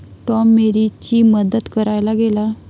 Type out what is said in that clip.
Tom मेरीची मदत करायला गेला.